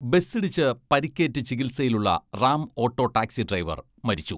ബസ്സിടിച്ച് പരിക്കേറ്റ് ചികിത്സയിലുള്ള, Ram auto taxi driver മരിച്ചു.